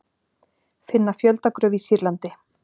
Finna fjöldagröf í Sýrlandi